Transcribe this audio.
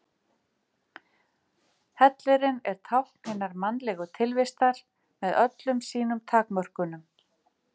Hellirinn er tákn hinnar mannlegu tilvistar með öllum sínum takmörkunum.